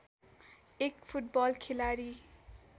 एक फुटबल खेलाडी